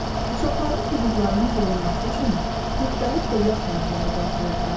Uşaqların hüquqlarının qorunması üçün müxtəlif dövlət sənədləri qəbul edilir.